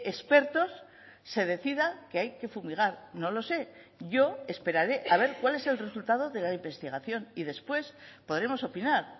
expertos se decida que hay que fumigar no lo sé yo esperaré a ver cuál es el resultado de la investigación y después podremos opinar